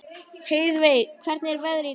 Heiðveig, hvernig er veðrið í dag?